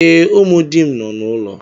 Ee, ụmụ di m nọ n’ụlọ.